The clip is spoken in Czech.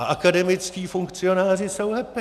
A akademičtí funkcionáři jsou happy!